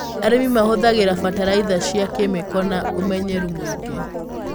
Arĩmi mahũthagĩra bataraitha cia kemiko na ũmenyereru mũingĩ.